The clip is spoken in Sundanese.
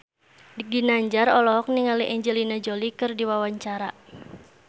Ginanjar olohok ningali Angelina Jolie keur diwawancara